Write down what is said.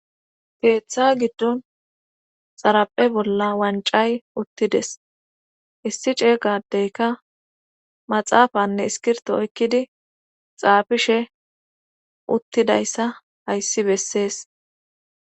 teeththa giddon xaraphe bolla wancay uttides issi ceegadeyka maxaafanne iskirto oykkidi xaafishe uttidayssa hayssi bessees